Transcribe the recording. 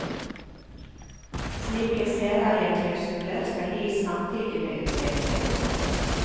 Slike særeieklausuler skal gis samtidig med utdelingen.